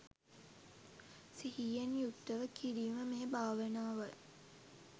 සිහියෙන් යුක්තව කිරීම මේ භාවනාවයි.